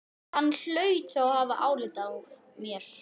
Hann hlaut þá að hafa álit á mér!